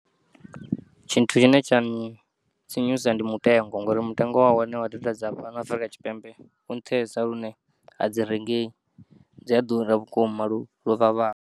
Tshithu tshine tshantsinyusa ndi mutengo ngori mutengo wahone wa data dza fhano Afrika Tshipembe, u nṱhesa lune a dzi rengeyi dzi ya ḓura vhukuma luvhavhaho.